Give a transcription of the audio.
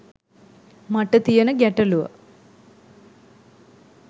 මට තියෙන ගැටළුව